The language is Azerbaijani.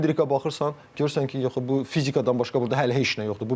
Endrikə baxırsan görürsən ki, yəni bu fizikadan başqa burda hələ heç nə yoxdur.